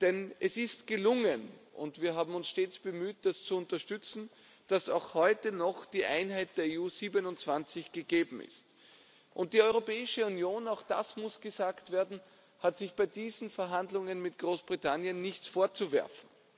Denn es ist gelungen und wir haben uns stets bemüht, das zu unterstützen dass auch heute noch die Einheit der EU 27 gegeben ist. Die Europäische Union, auch das muss gesagt werden, hat sich bei diesen Verhandlungen mit Großbritannien nichts vorzuwerfen.